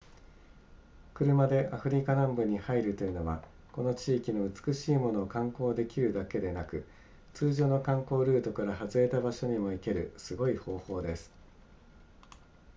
車でアフリカ南部に入るというのはこの地域の美しいものを観光できるだけでなく通常の観光ルートから外れた場所にも行けるすごい方法です